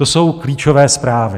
To jsou klíčové zprávy.